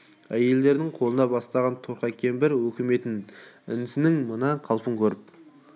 әйелдердің қолында бастаған торқа кемпір өкімет інісінің мына қалпын көріп